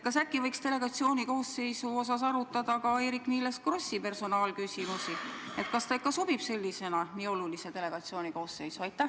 Kas äkki võiks delegatsiooni koosseisust rääkides arutada ka Eerik-Niiles Krossi personaalküsimust, kas ta ikka sobib nii olulise delegatsiooni koosseisu?